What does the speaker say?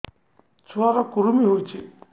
ଛୁଆ ର କୁରୁମି ହୋଇଛି